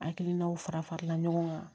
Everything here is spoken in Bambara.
Hakilinaw fara farala ɲɔgɔn kan